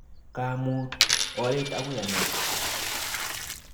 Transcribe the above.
Kaamuut oret akoi ang'et